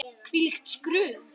Hvílíkt skrum!